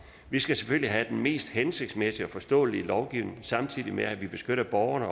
vi skal selvfølgelig have den mest hensigtsmæssige og forståelige lovgivning samtidig med at vi beskytter borgerne